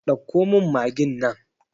Ɗauko min magin nan!